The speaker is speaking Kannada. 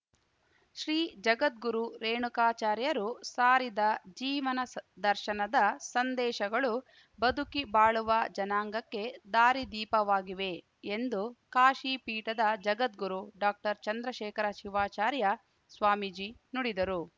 ಶ್ರೀ ಜಗದ್ಗುರು ರೇಣುಕಾಚಾರ್ಯರು ಸಾರಿದ ಜೀವನ ಸ ದರ್ಶನದ ಸಂದೇಶಗಳು ಬದುಕಿ ಬಾಳುವ ಜನಾಂಗಕ್ಕೆ ದಾರಿದೀಪವಾಗಿವೆ ಎಂದು ಕಾಶಿ ಪೀಠದ ಜಗದ್ಗುರು ಡಾಕ್ಟರ್ ಚಂದ್ರಶೇಖರ ಶಿವಾಚಾರ್ಯ ಸ್ವಾಮೀಜಿ ನುಡಿದರು